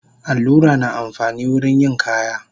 Allura na amfani wurin yin kaya